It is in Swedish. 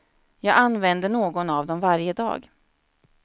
Jag använder någon av dem varje dag.